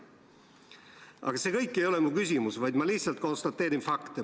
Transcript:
Aga see kõik ei ole mu küsimus, vaid ma lihtsalt konstateerin fakte.